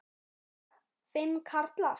Þóra: Fimm karlar?